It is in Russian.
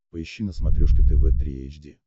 поищи на смотрешке тв три эйч ди